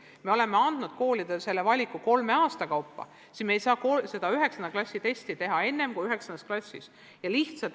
Kuna me oleme selle valiku andnud koolidele kolme aasta kaupa, siis me ei saa 9. klassi testi teha enne kui 9. klassis.